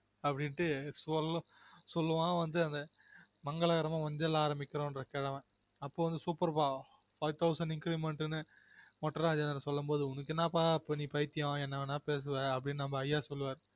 அப்டினுட்டு சொல்லுவன் வந்து மங்களகரமா மஞ்சள்ல ஆரம்பிக்கும் அந்த கிழவன் super ப்பா five thousand ingrement நு மொட்ட இராஜேந்திரன் சொல்லும் போது உனக்கு என்னப்பா பைத்தியம் நீ என்ன வேணா பேசுவன் அப்டினு நம்ம ஐய்யா சொல்லு வாரு